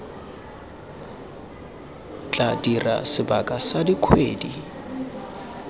tla dira sebaka sa dikgwedi